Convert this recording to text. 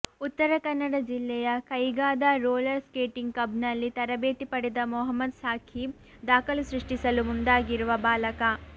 ಉತ್ತರ ಕನ್ನಡ ಜಿಲ್ಲೆಯ ಕೈಗಾದ ರೋಲರ್ ಸ್ಕೇಟಿಂಗ್ ಕ್ಲಬ್ನಲ್ಲಿ ತರಬೇತಿ ಪಡೆದ ಮೊಹಮ್ಮದ್ ಸಾಖೀಬ್ ದಾಖಲು ಸೃಷ್ಟಿಸಲು ಮುಂದಾಗಿರುವ ಬಾಲಕ